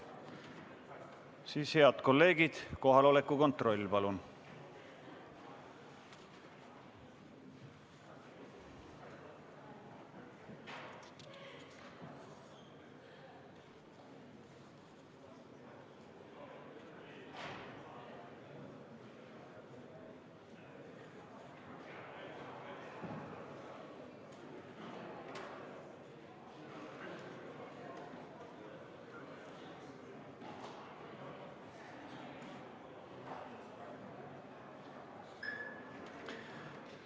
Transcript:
Siis, head kolleegid, kohaloleku kontroll, palun!